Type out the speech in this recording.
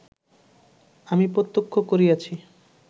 আমি প্রত্যক্ষ করিয়াছি